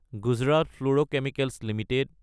Gujarat fluorochemicals Ltd